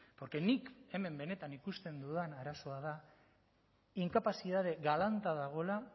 porque nik hemen benetan ikusten dudan arazoa da inkapazidade galanta dagoela